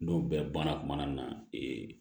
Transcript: N'o bɛɛ banna kumana na ee